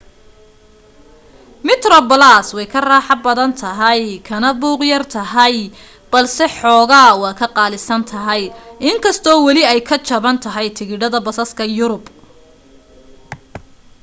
metroplus way ka raaxo badan tahay kana buuq yar tahay balse xoogaa waa ka qaalisan tahay in kastoo weli ay ka jaban tahay tigidhada basaska yurub